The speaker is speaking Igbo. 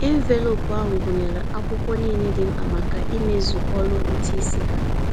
Enveloopu ahụ gụnyere akwụkwọ niile dị mkpa maka ịmezu ọrụ ụtụisi ha.